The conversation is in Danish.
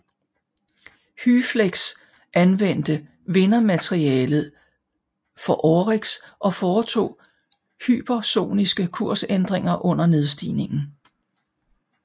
HYFLEX anvendte vindermaterialet fra OREX og foretog hypersoniske kursændringer under nedstigningen